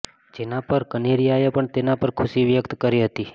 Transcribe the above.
જેના પર કનેરિયાએ પણ તેના પર ખુશી વ્યક્ત કરી હતી